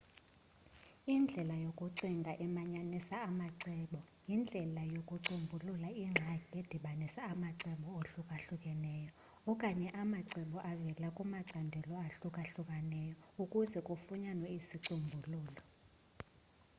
indlela yokucinga emanyanisa amacebo yindlelo yokucombulula ingxaki edibanisa amacebo ahlukahlukeneyo okanye amacebo avela kumacandelo ahlukahlukeneyo ukuze kufunyanwe isicombululo